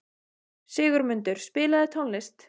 Sigurmundur, spilaðu tónlist.